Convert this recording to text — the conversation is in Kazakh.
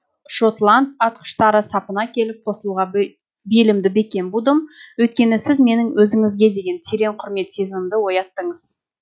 шотланд атқыштары сапына келіп қосылуға белімді бекем будым өйткені сіз менің өзіңізге деген терең құрмет сезімімді ояттыңыз